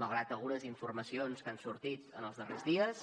malgrat algunes informacions que han sortit en els darrers dies